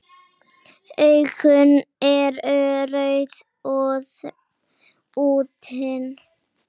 Augun eru rauð og þrútin.